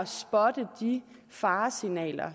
spotte de faresignaler